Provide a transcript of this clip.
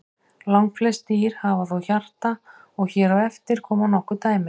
Langflest dýr hafa þó hjarta og hér á eftir koma nokkur dæmi.